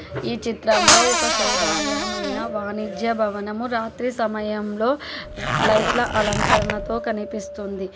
ఈ చిత్రంలో ఒక శోభాయమైన వాణిజ్య భవనము రాత్రి సమయంలో లైట్ల అలంకరణతో కనిపిస్తుంది.